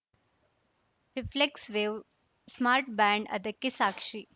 reflects wave smart band ಅದಕ್ಕೆ ಸಾಕ್ಷಿ